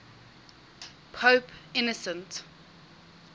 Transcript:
pope innocent